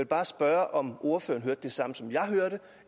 bare spørge om ordføreren hørte det samme som jeg hørte